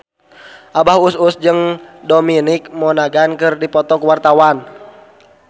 Abah Us Us jeung Dominic Monaghan keur dipoto ku wartawan